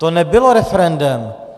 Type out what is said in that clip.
To nebylo referendem.